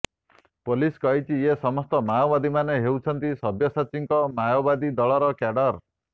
police କହିଛି ଏ ସମସ୍ତ ମାଓବାଦୀମାନେ ହେଉଛନ୍ତି ସବ୍ୟସାଚୀଙ୍କ ମାଓବାଦୀ ଦଳର କ୍ୟାଡର